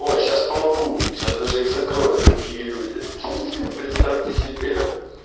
ой сейчас помогу сейчас их даже закроют другие люди представьте себе